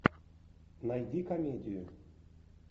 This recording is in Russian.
найди комедию